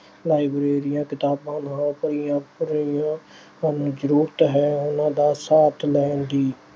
ਲਾਇਬ੍ਰੇਰੀਆਂ ਕਿਤਾਬਾਂ ਨਾਲ ਭਰੀਆਂ ਅਹ ਭਰੀਆਂ ਹਨ। ਜ਼ਰੂਰਤ ਹੈ ਉਹਨਾਂ ਦਾ ਸਾਥ ਲੈਣ ਦੀ।